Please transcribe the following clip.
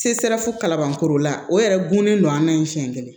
Se sera fo kalabankoro la o yɛrɛ gunnen don an na ni siɲɛ kelen